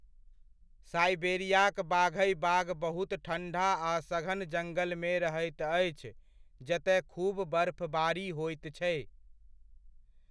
साइबेरियाक बाघइ बाघ बहुत ठंढ़ा आ सघन जंगलमे रहैत अछि जतय खूब बर्फ़बारि होइत छै।